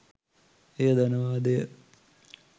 එය ධනවාදය